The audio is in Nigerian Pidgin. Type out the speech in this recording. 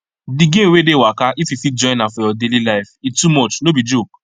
the gain wey dey waka if you fit join am for your daily life e too much no be joke